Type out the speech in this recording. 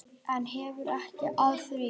En hefur byggðin áhrif?